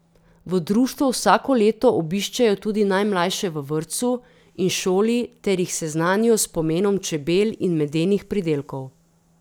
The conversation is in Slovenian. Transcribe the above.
V društvu vsako leto obiščejo tudi najmlajše v vrtcu in šoli ter jih seznanijo s pomenom čebel in medenih pridelkov.